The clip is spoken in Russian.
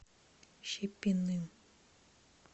щепиным